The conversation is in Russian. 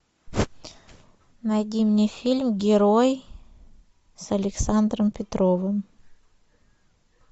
найди мне фильм герой с александром петровым